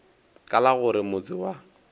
ka la gore motse wa